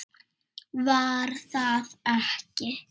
Var það ekki?